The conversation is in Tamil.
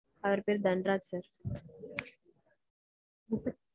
அவர் பேர் தன்ராஜ் sir.